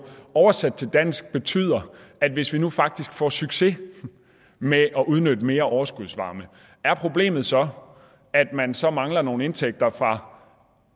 oversat til dansk betyder at hvis vi nu faktisk får succes med at udnytte mere overskudsvarme er problemet så at man så mangler nogle indtægter fra